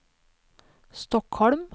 Stockholm